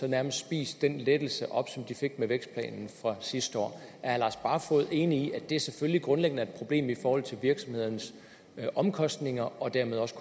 nærmest spist den lettelse op som de fik med vækstplanen fra sidste år herre lars barfoed enig i at det selvfølgelig grundlæggende er et problem i forhold til virksomhedernes omkostninger og dermed også